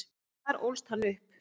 En þar ólst hann upp.